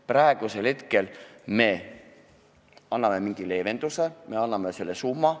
Praegu me anname mingi leevenduse, me anname teatud summa.